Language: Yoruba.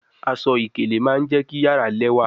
Aṣọ-ikele ma je ki yara lẹwa